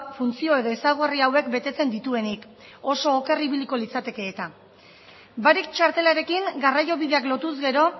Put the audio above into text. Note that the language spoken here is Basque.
funtzio edo ezaugarri hauek betetzen dituenik oso oker ibiliko litzateke eta barik txartelarekin garraio bideak lotuz gero